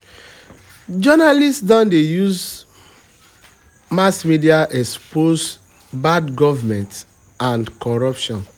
journalists don dey use mass media expose bad government and corruption.